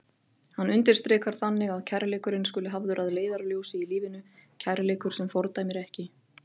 Hann undirstrikar þannig að kærleikurinn skuli hafður að leiðarljósi í lífinu, kærleikur sem fordæmir ekki.